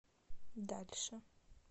дальше